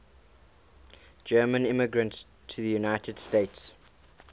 german immigrants to the united states